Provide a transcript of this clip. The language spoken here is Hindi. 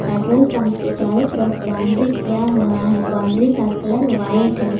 पेट्रोल पंप के चारो तरफ बाउंड्री किया हुआ है बाउंड्री का कलर व्हाइट है।